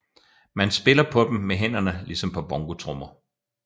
Man spiller på dem med hænderne ligesom på bongotrommer